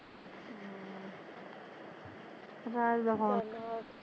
ਰਾਜ ਦਾ ਹੋਕ